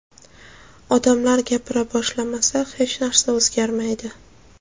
Odamlar gapira boshlamasa, hech narsa o‘zgarmaydi.